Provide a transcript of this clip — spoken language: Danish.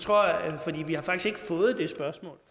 svaret